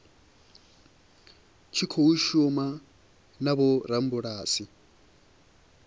tshi khou shuma na vhorabulasi